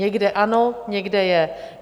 Někde ano, někde je.